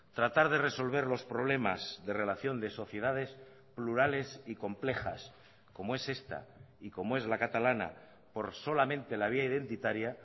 tratar de resolver los problemas de relación de sociedades plurales y complejas como es esta y como es la catalana por solamente la vía identitaria